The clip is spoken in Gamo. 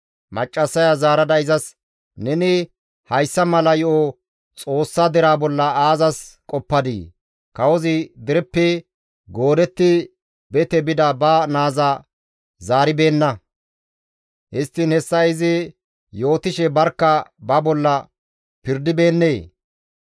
Maccassaya zaarada izas, «Neni hayssa mala yo7o Xoossa deraa bolla aazas qoppadii? Kawozi dereppe goodetti bete bida ba naaza zaaribeenna; histtiin hessa izi yootishe barkka ba bolla pirdibeennee?